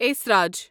esraj